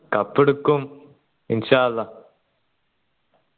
cup എടുക്കും